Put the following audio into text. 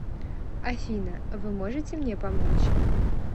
афина вы можете мне помочь